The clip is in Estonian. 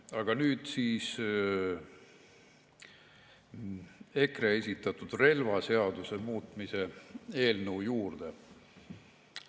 Aga nüüd EKRE esitatud relvaseaduse muutmise eelnõu juurde.